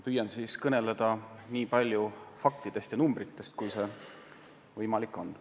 Püüan kõneleda nii palju faktidest ja numbritest, kui see on võimalik.